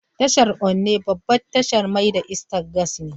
Tashar Onne babbar tashar mai da iskar gas ce.